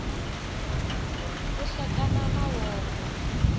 ku hlekana makovo